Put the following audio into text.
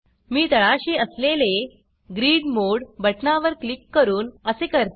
मी तळाशी असलेले grid mode बटणावर क्लिक करून असे करते